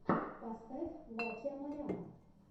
поставь ваче амаряна